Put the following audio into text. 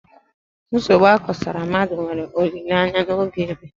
Nsogbu akosara mmadụ nwere olileanya n'oge ébé